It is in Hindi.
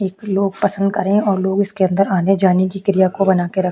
एक लोग पसंद करे और लोग इसके अंदर आने जाने की क्रिया को बना के रक--